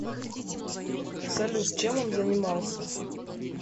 салют чем он занимался